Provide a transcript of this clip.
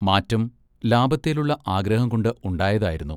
മാറ്റം ലാഭത്തെലുള്ള ആഗ്രഹംകൊണ്ട്‌ ഉണ്ടായതായിരുന്നു.